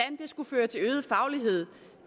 skulle føre til øget faglighed